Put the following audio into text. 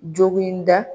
Jogoninda